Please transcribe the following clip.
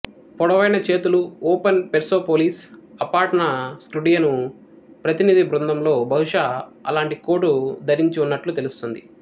పొడవైన చేతులు open Persepolis Apadana Skudrian ప్రతినిధి బృందంలో బహుశా అలాంటి కోటు ధరించి ఉన్నట్లు తెలుస్తుంది